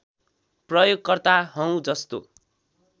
प्रयोगकर्ता हौँ जस्तो